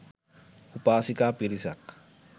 උපාසිකා පිරිසක්